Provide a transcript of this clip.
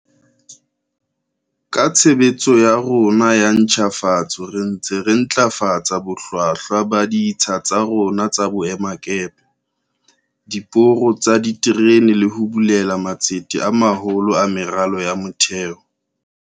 Ka tshebetso ya rona ya ntjhafatso re ntse re ntlafatsa bohlwahlwa ba ditsha tsa rona tsa boemakepe, diporo tsa diterene le ho bulela matsete a maholo a meralo ya motheo.